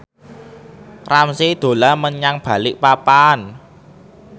Ramzy dolan menyang Balikpapan